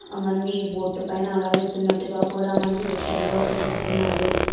మంది బోట్ పైన అలా వెళ్తున్నట్టుగా కూడా మనకి ఈ దృశ్యం లో కనిపిస్తున్నారు.